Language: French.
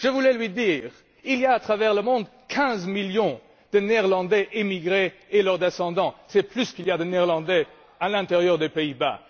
Je voulais lui dire qu'il y a, à travers le monde, 15 millions de Néerlandais émigrés et leurs descendants, c'est plus qu'il n'y a de Néerlandais à l'intérieur des Pays Bas.